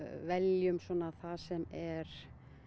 veljum það sem er